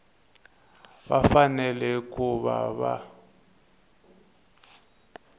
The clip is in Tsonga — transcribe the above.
va fanele ku va va